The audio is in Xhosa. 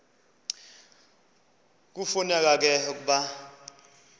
kufuneka ke ukuba